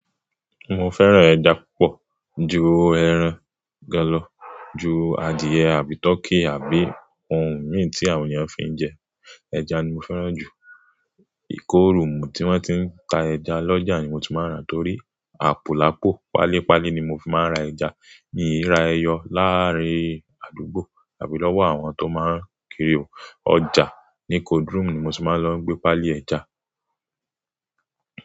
Mo fẹ́ràn ẹja púpọ̀ ju ẹran gán lọ̀, ju adìyẹ àbí turkey àbí ohun míì tí àwọn ènìyàn fi ń jẹ, ẹja ni mo fẹ́ràn jù. Ìkórùn tí wọ́n ti ń ta ẹja lọ́jà ni mo ti máa ń rà torí àpò lapọ. Pálí Pálí ni mo fi máa ń ra ẹja. Miì rá ẹyọ láàrín àdúgbò àbí lówó àwọn tó máa ń kiri ọjà. Ni cold room ni mo ti máa lọ n gbé Pálí ẹja.